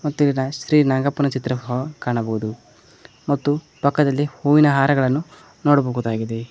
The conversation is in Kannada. ಮತ್ತು ಇಲ್ ಶ್ರೀ ನಾಗಪ್ಪನ ಚಿತ್ರ ಸಹ ಕಾಣಬಹುದು ಮತ್ತು ಪಕ್ಕದಲ್ಲಿ ಹೂವಿನ ಹಾರಗಳನ್ನು ನೋಡಬಹುದಾಗಿದೆ.